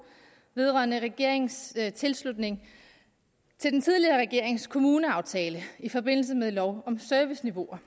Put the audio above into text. vedrørende regeringens tilslutning til den tidligere regerings kommuneaftale i forbindelse med lov om serviceniveauer